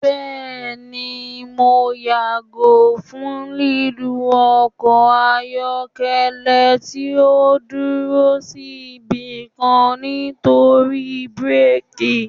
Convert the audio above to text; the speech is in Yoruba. Bẹẹni, Mo yago fun lilu ọkọ ayọkẹlẹ ti o duro si ibikan nitori birki